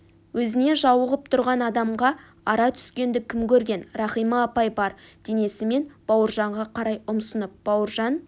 өзіне жауығып тұрған адамға ара түскенді кім көрген рахима апай бар денесімен бауыржанға қарай ұмсынып бауыржан